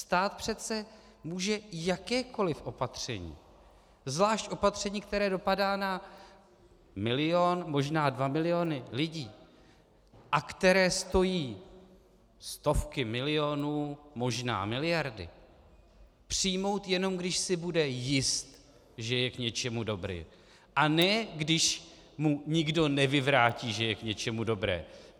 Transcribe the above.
Stát přece může jakékoli opatření, zvlášť opatření, které dopadá na milion, možná dva miliony lidí a které stojí stovky milionů, možná miliardy, přijmout, jenom když si bude jist, že je k něčemu dobré, a ne když mu nikdo nevyvrátí, že je k něčemu dobré.